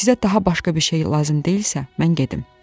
Sizə daha başqa bir şey lazım deyilsə, mən gedim.